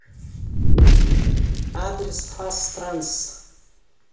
адрес фастранс